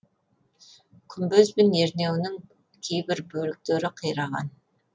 күмбез бен ернеуінің кейбір бөліктері қираған